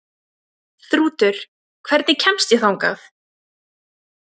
Þrútur, hvernig kemst ég þangað?